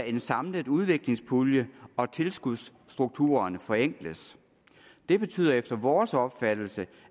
en samlet udviklingspulje og at tilskudsstrukturerne forenkles det betyder efter vores opfattelse